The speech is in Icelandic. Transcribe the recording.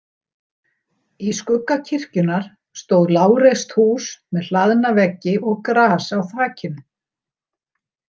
Í skugga kirkjunnar stóð lágreist hús með hlaðna veggi og gras á þakinu.